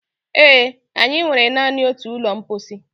Ee, anyị nwere naanị otu ụlọ mposi